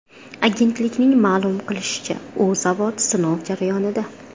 Agentlikning ma’lum qilishicha, u zavod sinov jarayonida.